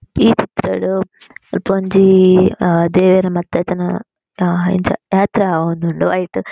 ಈ ಚಿತ್ರಡ್ ಮುಲ್ಪ ಒಂಜಿ ಆ ದೇವೆರ್ ಮಾತ ಇತ್ ನ ಆ ಇಂಚ ಯಾತ್ರೆ ಆವೊಂದುಂಡು ಐಟ್ --